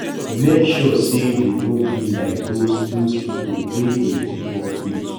mek sure say yu no be like dose dose pipo wey dey give up quick